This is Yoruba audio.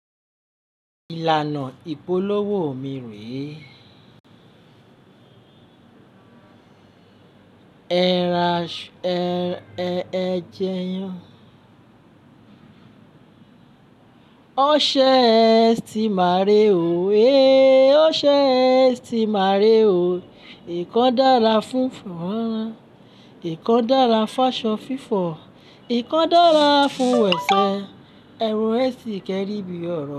Ìlànà ìpolówó mi rèé, ẹra ṣu ẹ jẹyàn. O ṣe ẹsti màárè o, eh! O ṣe ẹ ti màárè o. Ìkan dára fún fọ́nrán, ìkan dára fún aṣọ fífọ̀, ìkan dára fún ẹsẹ̀. Ẹ̀rọ ẹsti kẹri bí ọ̀rọ̀.